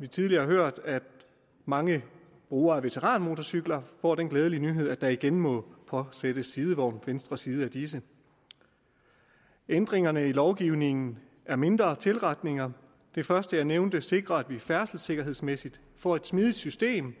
vi tidligere har hørt at mange brugere af veteranmotorcykler får den glædelige nyhed at der igen må påsættes sidevogn på venstre side af disse ændringerne i lovgivningen er mindre tilretninger det første jeg nævnte sikrer at vi færdselssikkerhedsmæssigt får et smidigt system